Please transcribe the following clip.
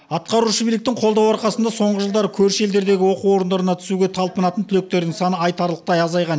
атқарушы биіліктің қолдауы арқасында соңғы жылдары көрші елдердегі оқу орындарына түсуге талпынатын түлектердің саны айтарлықтай азайған